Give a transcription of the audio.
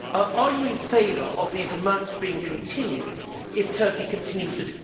Are you in favour of these amounts being continued if Turkey continues to